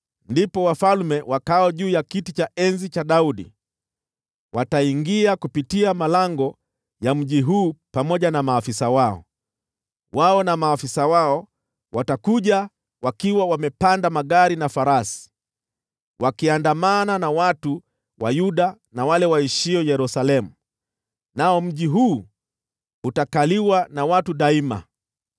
ndipo wafalme wakaao juu ya kiti cha enzi cha Daudi wataingia kupitia malango ya mji huu, pamoja na maafisa wao. Wao na maafisa wao watakuja wakiwa wamepanda magari na farasi, wakiandamana na watu wa Yuda na wale waishio Yerusalemu, nao mji huu utakaliwa na watu daima.